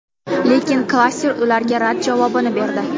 Lekin klaster ularga rad javobini berdi.